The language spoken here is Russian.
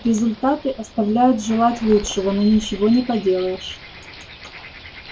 результаты оставляют желать лучшего но ничего не поделаешь